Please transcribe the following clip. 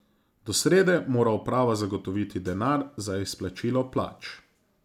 Do srede mora uprava zagotoviti denar za izplačilo plač.